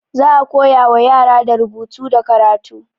Za a koya wa yara da rubutu da karatu.